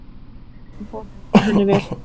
Hann fór henni vel.